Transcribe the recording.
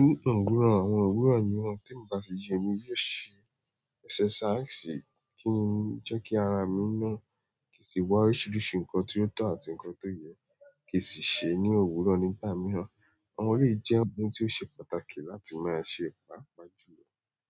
Ni òwúrọ̀, àwọn òwúrọ̀ mìíràn tí mo bá fi ṣe ni yó ṣe exercise kí n jẹ́ kí ara mi náà ki n sì wá oríṣiríṣi nǹkan tí ó tọ́ àti nǹkan tó yẹ kí sì ṣe ní òwúrọ̀ nígbà mìíràn. Àwọn iyi jẹ́ ohun tí ó ṣe pàtàkì láti máa ṣe paapaa julọ.